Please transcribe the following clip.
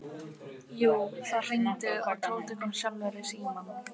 Jú, það hringdi og Tóti kom sjálfur í símann.